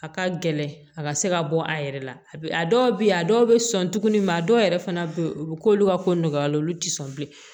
A ka gɛlɛn a ka se ka bɔ a yɛrɛ la a bi a dɔw be yen a dɔw be sɔn tuguni a dɔw yɛrɛ fana be yen u bi k'olu ka ko nɔgɔya la olu ti sɔn bilen